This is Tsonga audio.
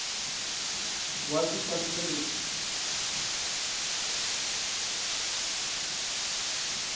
wa xifaniso lexi a a